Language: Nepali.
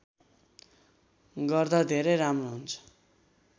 गर्दा धेरै राम्रो हुन्छ